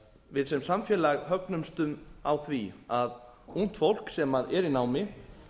við sem samfélag högnumst á því að ungt fólk sem er í námi